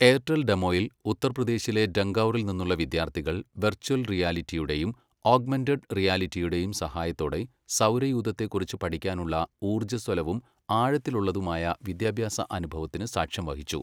Airtel ഡെമോയിൽ, ഉത്തർപ്രദേശിലെ ഡങ്കൗറിൽ നിന്നുള്ള വിദ്യാർഥികൾ വെർച്വൽ റിയാലിറ്റിയുടെയും ഓഗ്മെന്റഡ് റിയാലിറ്റിയുടെയും സഹായത്തോടെ സൗരയൂഥത്തെക്കുറിച്ചു പഠിക്കാനുള്ള ഊർജസ്വലവും ആഴത്തിലുള്ളതുമായ വിദ്യാഭ്യാസ അനുഭവത്തിനു സാക്ഷ്യംവഹിച്ചു.